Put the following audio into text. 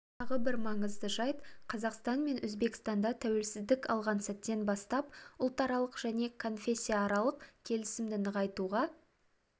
тағы бір маңызды жайт қазақстан мен өзбекстанда тәуелсіздік алған сәттен бастап ұлтаралық және конфессияаралық келісімді нығайтуға